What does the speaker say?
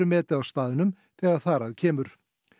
metið á staðnum þegar þar að kemur